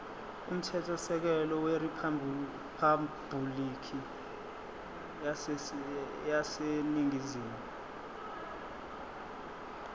umthethosisekelo weriphabhulikhi yaseningizimu